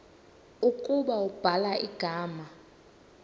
ukuba ubhala igama